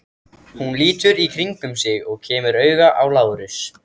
Hún lítur í kringum sig og kemur auga á Lárus.